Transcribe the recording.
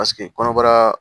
Paseke kɔnɔbara